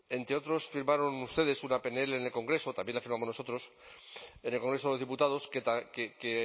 entre otros firmaron ustedes una pnl en el congreso también la firmamos nosotros en el congreso de los diputados que